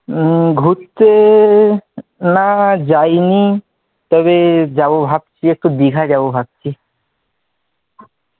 উম ঘুরতে না না যায় নি তবে যাব ভাবছি, একটু দীঘা যাব ভাবছি,